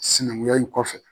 Sinankunya in kɔfɛ